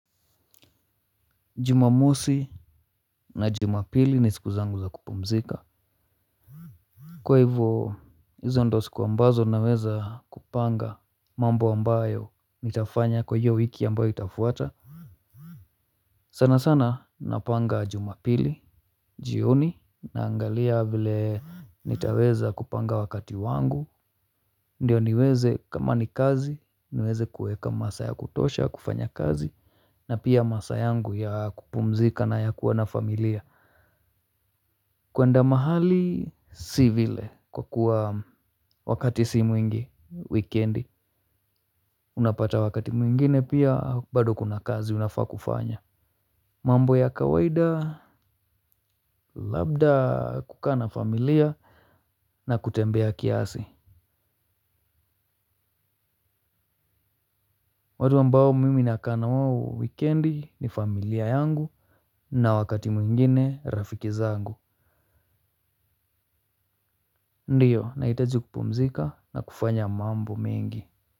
Jumamosi. Na jumapili ni siku zangu za kupumzika. Kwa hivyo hizo ndizo siku ambazo naweza kupanga mambo ambayo nitafanya kwa hiyo wiki ambayo itafuata. Sana sana napanga jumapili. Jioni naangalia vile nitaweza kupanga wakati wangu ndiyo niweze kama ni kazi niweze kuweka masaa ya kutosha kufanya kazi na pia masaa yangu ya kupumzika na ya kuwa na familia. Kwenda mahali si vile kwa kuwa wakati si mwingi, wikendi, unapata wakati mwingine pia bado kuna kazi unafaa kufanya. Mambo ya kawaida labda kukaa na familia na kutembea kiasi. Watu ambao mimi nakaa na wao wikendi ni familia yangu na wakati mwingine rafiki zangu. Ndiyo, nahitajikupumzika na kufanya mambo mengi.